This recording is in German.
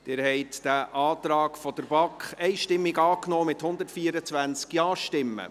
Sie haben den Antrag der BaK einstimmig angenommen, mit 124 Ja-Stimmen.